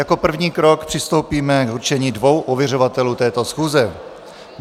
Jako první krok přistoupíme k určení dvou ověřovatelů této schůze.